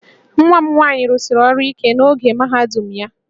Nwa m nwaanyị rụsiri ọrụ ike n'oge mahadum ya